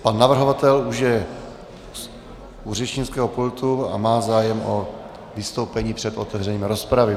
Pan navrhovatel už je u řečnického pultu a má zájem o vystoupení před otevřením rozpravy.